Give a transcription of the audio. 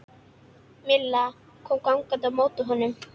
Milla kom gangandi á móti honum.